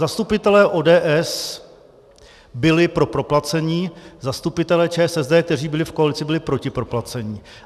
Zastupitelé ODS byli pro proplacení, zastupitelé ČSSD, kteří byli v koalici, byli proti proplacení.